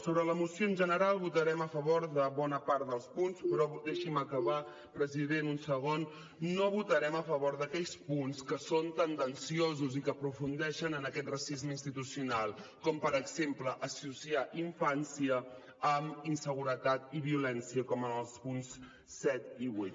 sobre la moció en general votarem a favor de bona part dels punts però deixi’m acabar president un segon no votarem a favor d’aquells punts que són tendenciosos i que aprofundeixen en aquest racisme institucional com per exemple associar infància amb inseguretat i violència com en els punts set i vuit